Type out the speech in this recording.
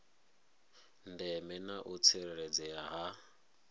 ndeme na u tsireledzea ha